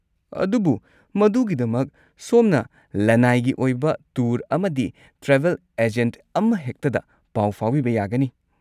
ꯑꯗꯨꯕꯨ, ꯃꯗꯨꯒꯤꯗꯃꯛ, ꯁꯣꯝꯅ ꯂꯟꯅꯥꯏꯒꯤ ꯑꯣꯏꯕ ꯇꯨꯔ ꯑꯃꯗꯤ ꯇ꯭ꯔꯥꯚꯦꯜ ꯑꯦꯖꯦꯟꯠ ꯑꯃꯍꯦꯛꯇꯗ ꯄꯥꯎ ꯐꯥꯎꯕꯤꯕ ꯌꯥꯒꯅꯤ꯫